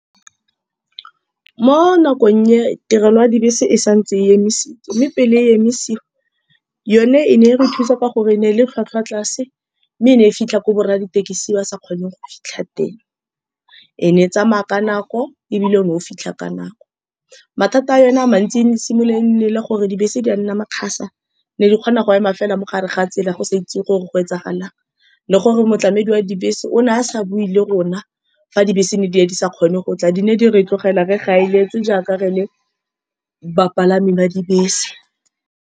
Mo nakong e, tirelo ya dibese e santse e emisetswe, mme pele e emisisiwa, yone e ne e re thusa ka gore ene e le tlhwatlhwa tlase, mme ene e fitlha ko borra dithekisi ba sa kgoneng go fitlha teng. Ene e tsamaya ka nako, ebile o fitlha ka nako. Mathata a yone a mantsi, ene e simolola, ene e le gore dibese di a nna makgasa. Di ne di kgona go ema fela mogare ga tsela, ya go sa itse gore go etsagalang, le gore motlamedi wa dibese o ne a sa bue le rona. Fa dibese di ne di sa kgone go tla, di ne di re tlogela re gaeletswe, jaaka re le bapalami ba dibese.